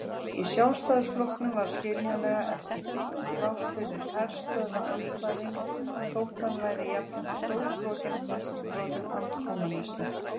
Í Sjálfstæðisflokknum var skiljanlega ekki beint pláss fyrir herstöðvaandstæðing þótt hann væri jafnframt stórbrotinn andkommúnisti.